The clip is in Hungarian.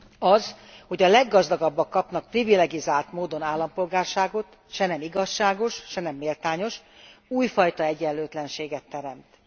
Az, hogy a leggazdagabbak kapnak privilegizált módon állampolgárságot, se nem igazságos, se nem méltányos, újfajta egyenlőtlenséget teremt.